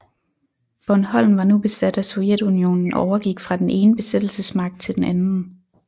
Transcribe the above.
Bornholm var nu besat af Sovjetunionen og overgik fra den ene besættelsesmagt til den anden